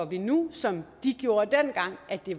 vi nu som de gjorde dengang at det